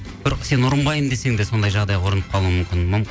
бір сен ұрынбаймын десең де сондай жағдайға ұрынып қалуың мүмкін